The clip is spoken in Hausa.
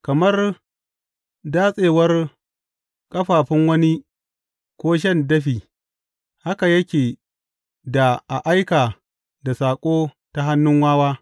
Kamar datsewar ƙafafun wani ko shan dafi haka yake da a aika da saƙo ta hannun wawa.